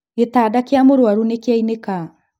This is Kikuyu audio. Gĩtanda gĩa mũrwaru nĩkĩanĩka